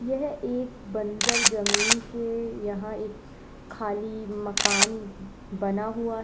यह एक बंजर जमीन के यहां एक खाली मकान बना हुआ है।